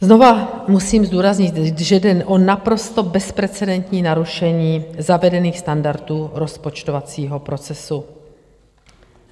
Znovu musím zdůraznit, že jde o naprosto bezprecedentní narušení zavedených standardů rozpočtovacího procesu.